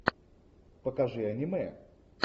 покажи аниме